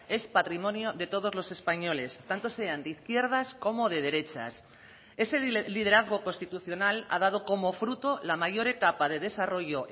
es patrimonio de todos los españoles tanto sean de izquierdas como de derechas ese liderazgo constitucional ha dado como fruto la mayor etapa de desarrollo